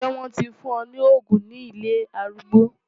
Ṣé wọ́n ti fún wọn ní òògùn ní ilé arúgbó?